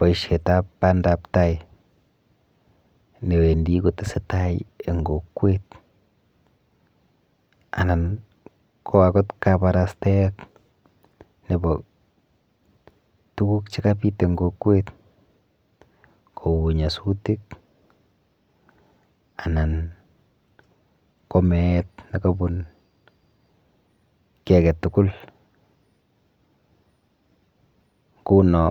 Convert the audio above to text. boishetap pandaptai newendi kotesetai eng kokwet anan ko akot kabarastaet nepo tuguk chekabit eng kokwet kou nyasutik anan ko meet nekabun kiy aketugul nguno